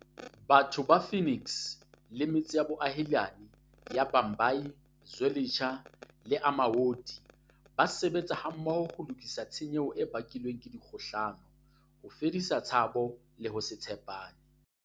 Batho ba Phoenix le metse ya boahelani ya Bhambayi, Zwe litsha le Amaoti ba sebetsa mmoho ho lokisa tshenyo e bakilweng ke dikgohlano, ho fedisa tshabo le ho se tshe pane.